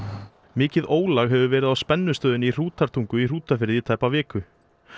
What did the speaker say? mikið ólag hefur verið á spennistöðinni í Hrútatungu í Hrútafirði í tæpa viku